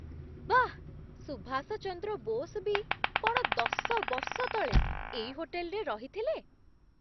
ବାଃ! ସୁଭାଷ ଚନ୍ଦ୍ର ବୋଷ ବି କ'ଣ ଦଶ ବର୍ଷ ତଳେ ଏଇ ହୋଟେଲରେ ରହିଥିଲେ?